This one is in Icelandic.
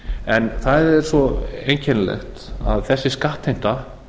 en það er svo einkennilegt að þessi skattheimta